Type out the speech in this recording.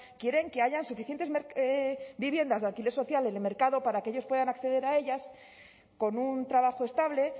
quieren que haya suficientes viviendas de alquiler social en el mercado para que ellos puedan acceder a ellas con un trabajo estable